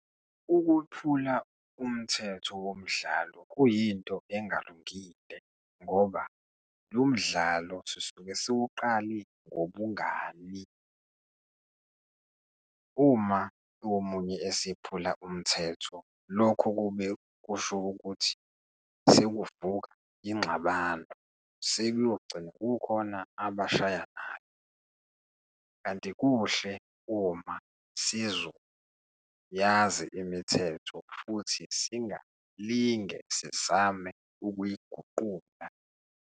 Ukuphula umthetho womdlalo kuyinto engalungile ngoba lo mdlalo sisuke siwuqale ngobungani. Uma omunye esephula umthetho, lokho kube kusho ukuthi sekuvuka ingxabano, sekuyogcina kukhona abashayanayo. Kanti kuhle uma sizoyazi imithetho futhi singalinge sizame ukuyiguqula.